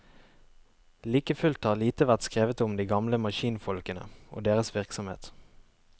Like fullt har lite vært skrevet om de gamle maskinfolkene og deres virksomhet.